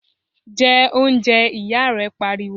jẹ oúnjẹ! ìyá rẹ̀ pariwo